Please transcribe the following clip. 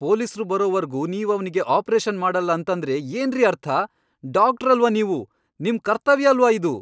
ಪೊಲೀಸ್ರು ಬರೋವರ್ಗು ನೀವವ್ನಿಗೆ ಆಪ್ರೇಷನ್ ಮಾಡಲ್ಲ ಅಂತಂದ್ರೆ ಏನ್ರಿ ಅರ್ಥ? ಡಾಕ್ಟ್ರಲ್ವಾ ನೀವು? ನಿಮ್ ಕರ್ತವ್ಯ ಅಲ್ವಾ ಇದು?!